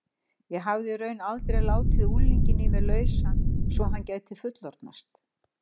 Ég hafði í raun aldrei látið unglinginn í mér lausan svo að hann gæti fullorðnast.